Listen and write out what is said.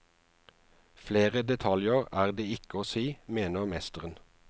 Flere detaljer er det ikke å si, mener mesteren.